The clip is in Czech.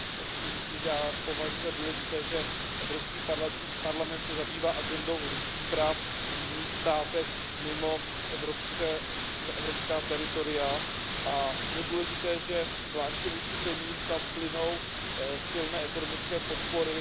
Chci říci, že já považuji za důležité, že Evropský parlament se zabývá agendou lidských práv i v jiných státech mimo evropská teritoria a že je to důležité zvláště vůči zemím, kam plynou silné ekonomické podpory.